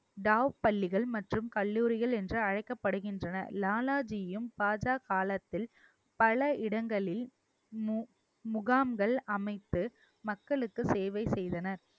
டாவ் பள்ளிகள் மற்றும் கல்லூரிகள் என்று அழைக்கப்படுகின்றன லாலாஜியும் பாஜ காலத்தில் பல இடங்களில் மு~ முகாம்கள் அமைத்து மக்களுக்கு சேவை செய்தனர்